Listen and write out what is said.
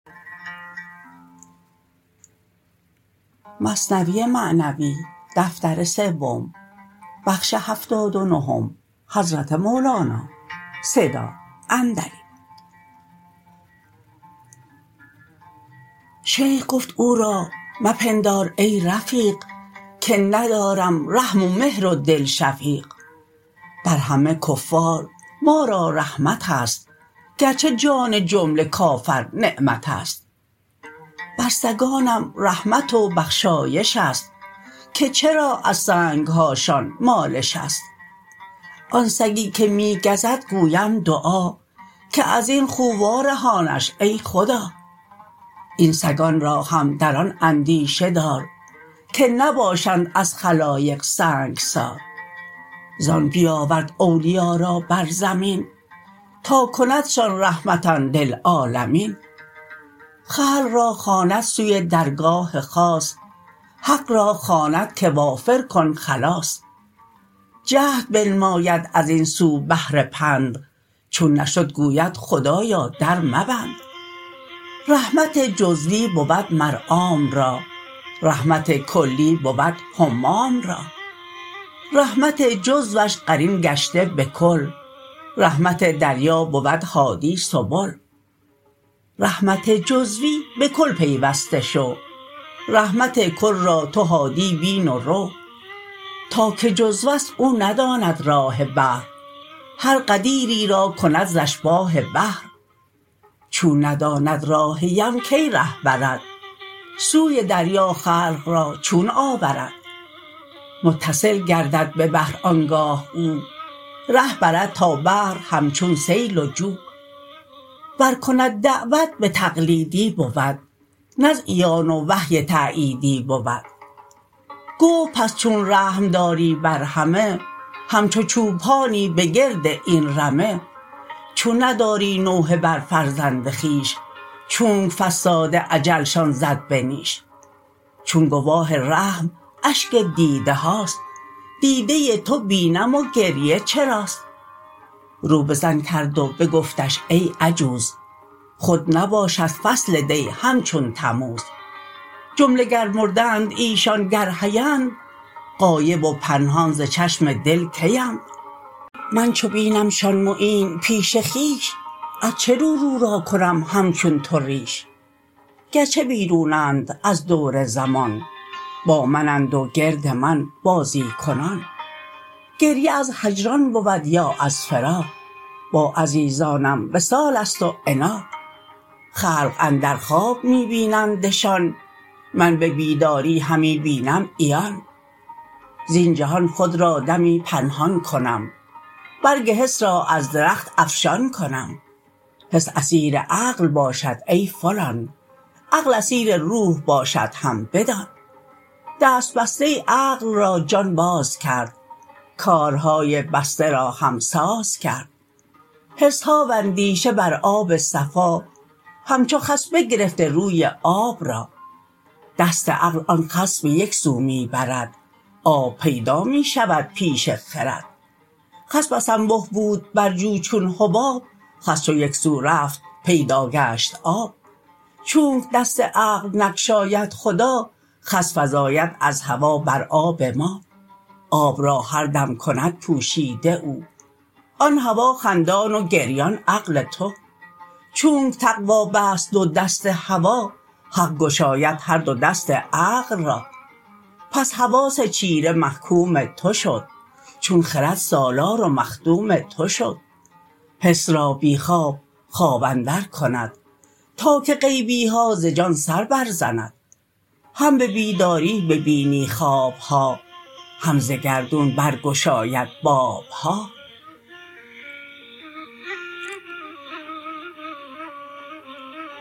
شیخ گفت او را مپندار ای رفیق که ندارم رحم و مهر و دل شفیق بر همه کفار ما را رحمتست گرچه جان جمله کافر نعمتست بر سگانم رحمت و بخشایش است که چرا از سنگهاشان مالش است آن سگی که می گزد گویم دعا که ازین خو وا رهانش ای خدا این سگان را هم در آن اندیشه دار که نباشند از خلایق سنگسار زان بیاورد اولیا را بر زمین تا کندشان رحمة للعالمین خلق را خواند سوی درگاه خاص حق را خواند که وافر کن خلاص جهد بنماید ازین سو بهر پند چون نشد گوید خدایا در مبند رحمت جزوی بود مر عام را رحمت کلی بود همام را رحمت جزوش قرین گشته به کل رحمت دریا بود هادی سبل رحمت جزوی به کل پیوسته شو رحمت کل را تو هادی بین و رو تا که جزوست او نداند راه بحر هر غدیری را کند ز اشباه بحر چون نداند راه یم کی ره برد سوی دریا خلق را چون آورد متصل گردد به بحر آنگاه او ره برد تا بحر همچون سیل و جو ور کند دعوت به تقلیدی بود نه از عیان و وحی تاییدی بود گفت پس چون رحم داری بر همه همچو چوپانی به گرد این رمه چون نداری نوحه بر فرزند خویش چونک فصاد اجلشان زد به نیش چون گواه رحم اشک دیده هاست دیده تو بی نم و گریه چراست رو به زن کرد و بگفتش ای عجوز خود نباشد فصل دی همچون تموز جمله گر مردند ایشان گر حی اند غایب و پنهان ز چشم دل کی اند من چو بینمشان معین پیش خویش از چه رو رو را کنم همچون تو ریش گرچه بیرون اند از دور زمان با من اند و گرد من بازی کنان گریه از هجران بود یا از فراق با عزیزانم وصالست و عناق خلق اندر خواب می بینندشان من به بیداری همی بینم عیان زین جهان خود را دمی پنهان کنم برگ حس را از درخت افشان کنم حس اسیر عقل باشد ای فلان عقل اسیر روح باشد هم بدان دست بسته عقل را جان باز کرد کارهای بسته را هم ساز کرد حسها و اندیشه بر آب صفا همچو خس بگرفته روی آب را دست عقل آن خس به یکسو می برد آب پیدا می شود پیش خرد خس بس انبه بود بر جو چون حباب خس چو یکسو رفت پیدا گشت آب چونک دست عقل نگشاید خدا خس فزاید از هوا بر آب ما آب را هر دم کند پوشیده او آن هوا خندان و گریان عقل تو چونک تقوی بست دو دست هوا حق گشاید هر دو دست عقل را پس حواس چیره محکوم تو شد چون خرد سالار و مخدوم تو شد حس را بی خواب خواب اندر کند تا که غیبیها ز جان سر بر زند هم به بیداری ببینی خوابها هم ز گردون برگشاید بابها